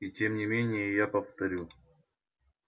и тем не менее я повторю